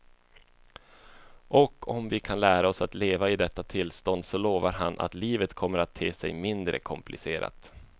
Och om vi kan lära oss att leva i detta tillstånd så lovar han att livet kommer att te sig mindre komplicerat.